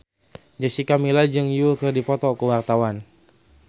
Jessica Milla jeung Yui keur dipoto ku wartawan